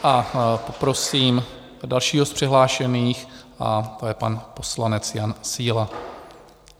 A poprosím dalšího z přihlášených a to je pan poslanec Jan Síla.